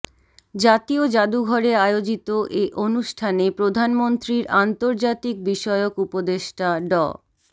জাতীয় জাদুঘরে আয়োজিত এ অনুষ্ঠানে প্রধানমন্ত্রীর আন্তর্জাতিকবিষয়ক উপদেষ্টা ড